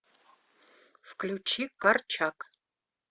включи корчак